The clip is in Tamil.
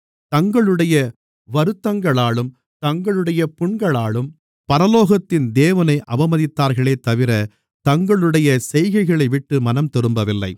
தங்களுடைய வருத்தங்களாலும் தங்களுடைய புண்களாலும் பரலோகத்தின் தேவனை அவமதித்தார்களேதவிர தங்களுடைய செய்கைகளைவிட்டு மனம்திரும்பவில்லை